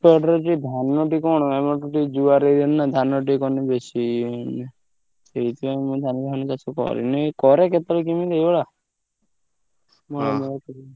ଏପଟରେ ଯୋଉ ଧାନଟି କଣ ଆମର ଏପଟେ ଜୁଆର area ନା ଧାନ ଟିକେ କଲେ ମାନେ ବେଶୀ ହୁଏନି। ସେଇଥିପାଇଁ ମୁଁ ଧାନ ଫାନ ବେଶୀ କରେନି କରେ କେତବେଳେ କେମିତି ଏଇଭଳିଆ